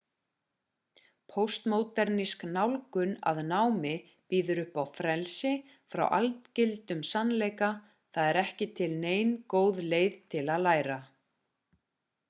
póstmódernísk nálgun að námi býður upp á frelsi frá algildum sannleika það er ekki til nein góð leið til að læra